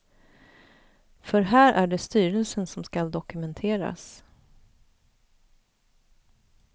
För här är det styrelsen som skall dokumenteras.